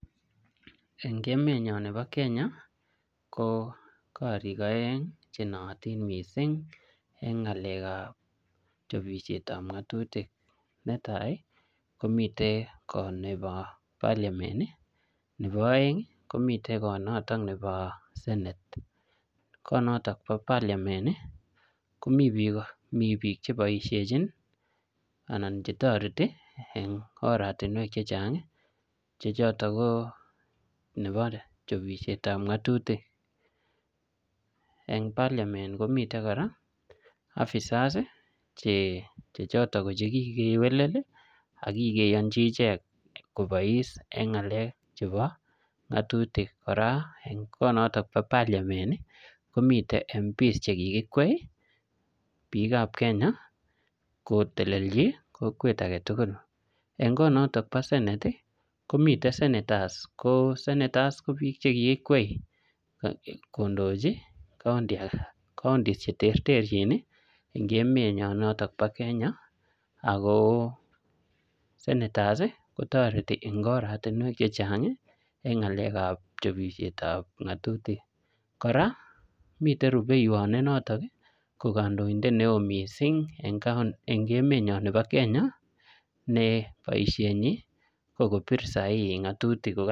En ngemenyon nebo Kenya ko koriik oeng chenootin missing en ng'alek ab chobet ab ng'atutik, netai ko miten koot noton nebo parliament ii, nebo oeng komiten koot noton nebo senate koot noton nebo parliament ii komiten biik cheboisienjin ii anan chetoreti en oratinuek chechang choto ko nebo chobisietab ng'atutik, en parliament komiten kora officers che choton ko kikewelel ii ak kiyonji echeget ichek kobois en ng'alek chebo ng'atutik, kora en koot noton bo parliamrnt komiten kora choton MPs chekikikwai biik ab Kenya kotelelji kokwet agetugul, en koot noton bo senate ii komiten senators, senators ko biik chekikikwai kondoji koundis cheterterjin ii en ng'emenyon noton bo Kenya ago senators kotoreti en oratinwek chechang en ng'alek ab chobisirtab ng'atutik, kora miten rubeiwot ko noton ko kondoindet neo missing en n'gemenyon nebo Kenya ne boisienyi ko kobit sahihi ng'atutik.